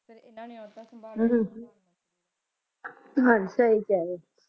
ਹਾਂਜੀ ਸਹੀ ਕਹਿ ਰਹੇ ਹੋ